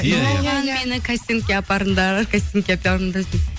соған мені кастингке апарыңдар кастингке апарыңдар